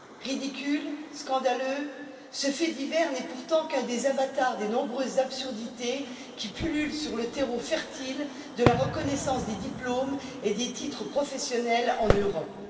Ridicule, scandaleux, ce fait divers n'est pourtant qu'un des avatars des nombreuses absurdités qui pullulent sur le terreau fertile de la reconnaissance des diplômes et des titres professionnels en Europe.